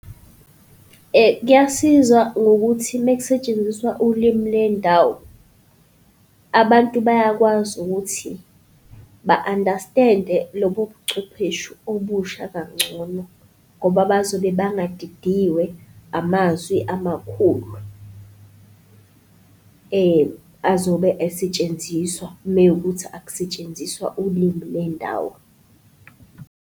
Kuyasiza ngokuthi mekusetshenziswa ulimi lendawo, abantu bayakwazi ukuthi ba-understand-e lobo buchwepheshu obusha kangcono ngoba bazobe bangadidiwe amazwi amakhulu azobe esetshenziswa mewukuthi akusetshenziswa ulimi lendawo.